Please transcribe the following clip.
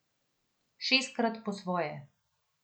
Šestkrat po svoje.